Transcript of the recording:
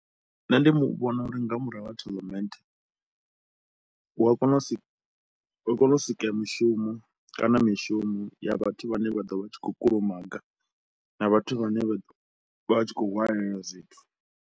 Nṋe ndi vhona uri nga murahu ha tournament, hu a kona u si hu wa kona u sika mushumo kana mishumo ya vhathu vhane vha ḓo vha tshi khou kulumaga na vhathu vhane vha vha tshi khou hwalela zwithu.